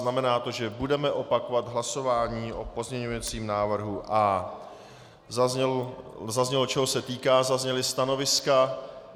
Znamená to, že budeme opakovat hlasování o pozměňovacím návrhu A. Zaznělo, čeho se týká, zazněla stanoviska.